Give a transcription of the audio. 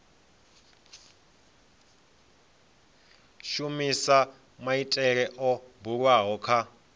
shumisa maitele o bulwaho kha